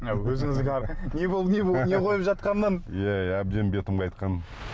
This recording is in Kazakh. не қойып жатқаннан иә иә әбден бетім қайтқан